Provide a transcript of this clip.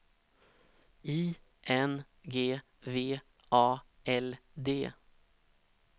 I N G V A L D